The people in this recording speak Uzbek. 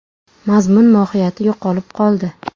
Mazmun-mohiyati yo‘qolib qoldi.